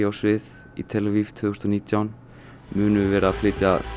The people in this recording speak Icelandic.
svið í tel Aviv tvö þúsund og nítján munu vera að flytja